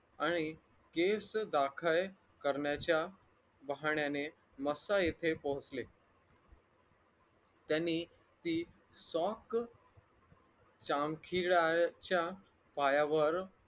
आणि केस दाखल करण्याच्या बहाण्याने मस्था येथे पोहचले त्यांनी सी sock चामखिळायच्या पायावर